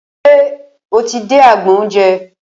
Ṣe o ti dé agbọn oúnjẹ?